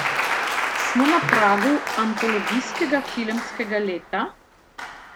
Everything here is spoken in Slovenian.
Smo na pragu antologijskega filmskega leta?